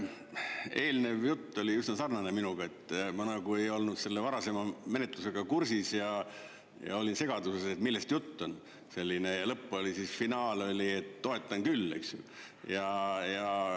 Eelnev jutt oli üsna sarnane minuga, et ma nagu ei olnud selle varasema menetlusega kursis ja olin segaduses, millest jutt on, selline, ja lõpp oli, finaal oli, et toetan küll, eks ju.